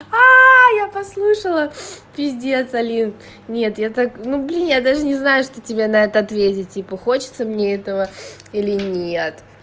а я послушала пиздец алин нет я так ну блин я даже не знаю что тебе на это ответить типа хочется мне этого или нет